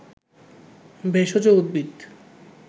ভেষজ উদ্ভিদ